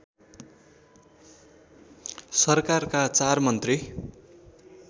सरकारका चार मन्त्री